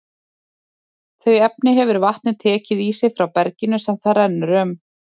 Þau efni hefur vatnið tekið í sig frá berginu sem það rennur um.